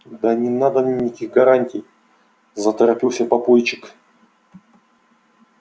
да не надо мне никаких гарантий заторопился папульчик